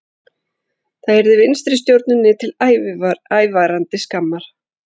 Það yrði vinstristjórninni til ævarandi skammar